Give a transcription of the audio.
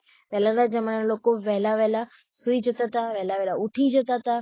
પેહલા ના જમાના ના લોકો વેહલા-વેહલા સુઈ જતા હતા વેહલા-વેહલા ઉઠી જતા હતા